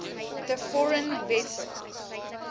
the foreign vessel